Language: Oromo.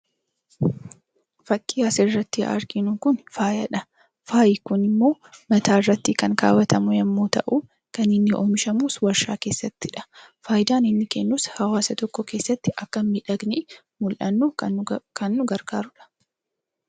Fakkiin asirratti arginu kun faayaadha. Faayi kun immoo mataa irratti kan kaawwatamu yemmuu ta'u, kan inni oomishamus warshaa keessattidha. Faayidaan inni kennus hawaasa tokko keessatti akka miidhagnee mul'annu kan nu gargaaruudha.